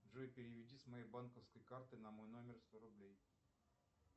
джой переведи с моей банковской карты на мой номер сто рублей